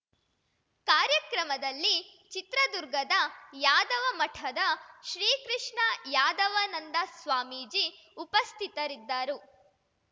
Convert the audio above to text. ಕಾರ್ಯಕ್ರಮದಲ್ಲಿ ಚಿತ್ರದುರ್ಗದ ಯಾದವ ಮಠದ ಶ್ರೀಕೃಷ್ಣ ಯಾದವನಂದ ಸ್ವಾಮೀಜಿ ಉಪಸ್ಥಿತರಿದ್ದರು